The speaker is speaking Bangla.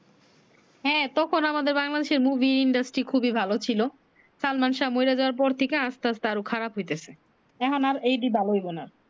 হ্যাঁ তখন আমাদের বাংলাদেশ এর মুভি খুবি ভালো ছিলো সালমান শাহ মরে যাওয়ার পর থেকে আসতে আসতে আরো খারাপ হইতেছে এখন আর এইটি ভালো হবে না